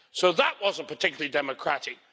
So that wasn't particularly democratic.